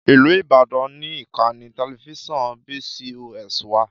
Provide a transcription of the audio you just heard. Ìlú Ìbàdàn ni ìkànnì tẹlifíṣàn BCOS wà.